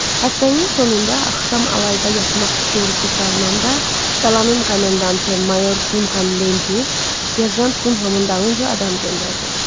Həftənin sonunda axşam alayda yatmaq Şerupu çalınanda qalanın komendantı mayor Dunkan Lendi, serjant Dunhamın dalınca adam göndərdi.